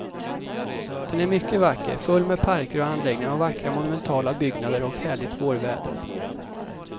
Den är mycket vacker, full med parker och anläggningar och vackra monumentala byggnader och härligt vårväder.